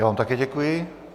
Já vám také děkuji.